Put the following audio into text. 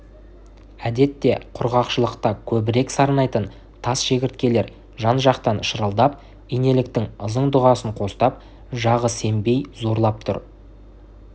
әдетте құрғақшылықта көбірек сарнайтын тас шегірткелер жан-жақтан шырылдап инеліктің ызың дұғасын қостап жағы сембей зарлап тұр